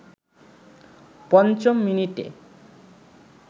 পঞ্চম মিনিটে